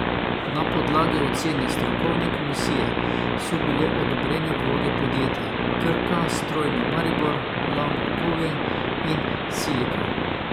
Na podlagi ocene strokovne komisije so bile odobrene vloge podjetij Krka, Strojna Maribor, Lama okovja in Siliko.